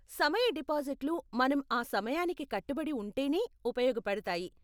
సమయ డిపాజిట్లు మనం ఆ సమయానికి కట్టుబడి ఉంటేనే ఉపయోగపడతాయి.